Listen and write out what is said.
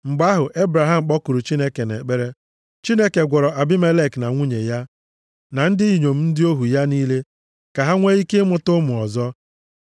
Mgbe ahụ, Ebraham kpọkuru Chineke nʼekpere. Chineke gwọrọ Abimelek na nwunye ya, na ndị inyom ndị ohu ya niile, ka ha nwee ike ịmụta ụmụ ọzọ.